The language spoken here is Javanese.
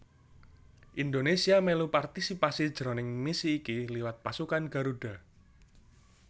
Indonésia mèlu partisipasi jroning misi iki liwat Pasukan Garuda